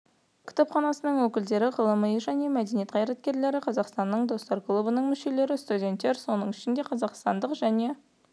кітапханасының өкілдері ғылым және мәдениет қайраткерлері қазақстанның достар клубының мүшелері студеттер соның ішінде қазақстандық және